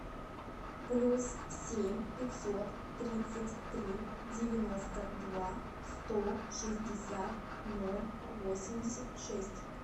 плюс семь пятьсот тридцать три девяносто два сто шестьдесят ноль восемьдесят шесть